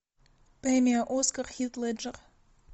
премия оскар хит леджер